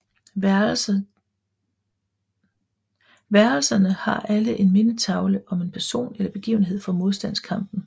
Værelserne t har alle en mindetavle om en person eller begivenhed fra modstandskampen